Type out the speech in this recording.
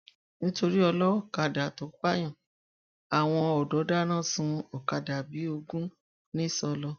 nítorí olókàdá tó pààyàn àwọn ọdọ dáná sun ọkadà bíi ogun ńíṣọlọ